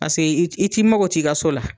Pase i t i t'i mago t'i ka so la.